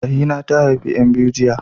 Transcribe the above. Rahina ta haifi ƴan biyu jiya.